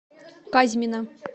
казьмина